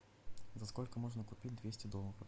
за сколько можно купить двести долларов